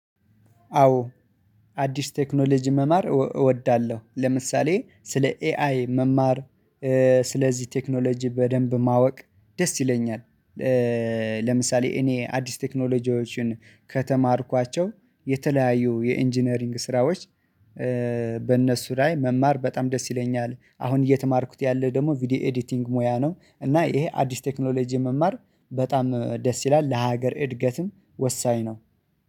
አዎ አዲስ ቴክኖሎጂ መማር እወዳለሁ ለምሳሌ ስለ ኤአይ መማር ስለዚህ ቴክኖሎጂ በደንብ ማወቅ ደስ ይለኛል። ለምሳሌ እኔ አዲስ ቴክኖሎጂዎችን ከተማርኳቸው የተለያዩ የኢንጂነሪንግ ስራዎች በእነሱ ላይ መማር በጣም ደስ ይለኛል አሁን እየተማርኩት ያለ ደግሞ ቪዲዮ ኤዲቲንግ ሙያ ነው እና ይሄ አዲስ ቴክኖሎጂ መማር በጣም ደስ ይላል ለሀገር እድገትም ወሳኝ ነው።